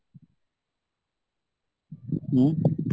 ଉଁ